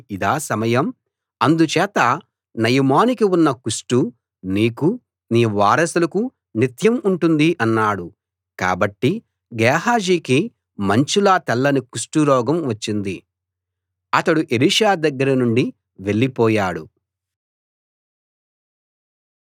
అందుచేత నయమానుకి ఉన్న కుష్ఠు నీకూ నీ వారసులకూ నిత్యం ఉంటుంది అన్నాడు కాబట్టి గేహాజీకి మంచులా తెల్లని కుష్టురోగం వచ్చింది అతడు ఎలీషా దగ్గరనుండి వెళ్ళి పోయాడు